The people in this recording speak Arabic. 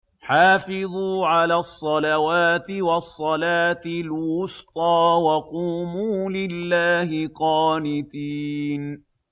حَافِظُوا عَلَى الصَّلَوَاتِ وَالصَّلَاةِ الْوُسْطَىٰ وَقُومُوا لِلَّهِ قَانِتِينَ